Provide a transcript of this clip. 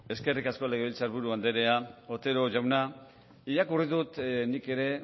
eskerrik asko legebiltzar buru anderea otero jauna irakurri dut nik ere